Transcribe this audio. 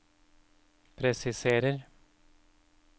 presiserer